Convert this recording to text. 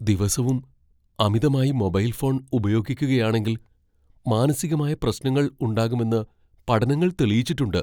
ദിവസവും അമിതമായി mobile phone ഉപയോഗിക്കുകയാണെങ്കിൽ മാനസികമായ പ്രശ്നങ്ങൾ ഉണ്ടാകുമെന്ന് പഠനങ്ങൾ തെളിയിച്ചിട്ടുണ്ട്.